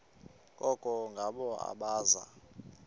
koko ngabo abaza